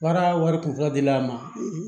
Baara wari kunfɔlɔ di a ma